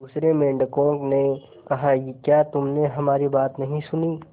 दूसरे मेंढकों ने कहा क्या तुमने हमारी बात नहीं सुनी